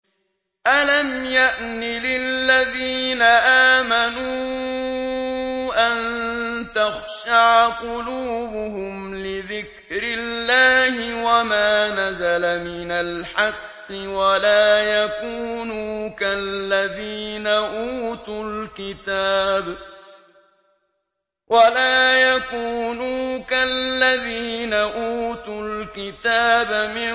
۞ أَلَمْ يَأْنِ لِلَّذِينَ آمَنُوا أَن تَخْشَعَ قُلُوبُهُمْ لِذِكْرِ اللَّهِ وَمَا نَزَلَ مِنَ الْحَقِّ وَلَا يَكُونُوا كَالَّذِينَ أُوتُوا الْكِتَابَ مِن